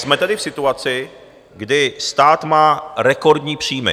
Jsme tedy v situaci, kdy stát má rekordní příjmy.